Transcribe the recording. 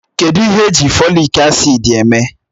Kedụ ihe èjí Fòlị́k acị́d èmé?